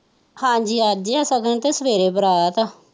ਹਾਜੀ ਅੱਜ ਹੈ ਸ਼ਗੁਨ ਤੇ ਸਵੇਰੇ ਬਰਾਤ ਹੈ।